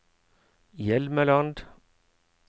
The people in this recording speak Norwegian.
Hjelmeland